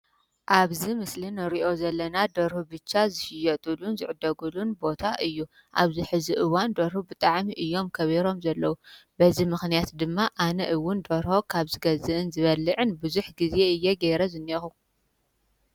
ኣብዚ ምስሊ እዚ ንሪኦ ዘለና ደርሁ ብቻ ዝሽየጠሉን ዝዕደገሉን ቦታ እዩ፡፡ ኣብዚ ሕዚ እዋን ደርሁ ብጣዕሚ እዮም ከቢሮም ዘለው፡፡ በዚ ምኽንያት ድማ ኣነ እውን ደርሆ ካብ ዝገዝእን ካብ ዝበልዕን ብዙሕ ጊዜ እየ ገይረ ዝንሄኹ::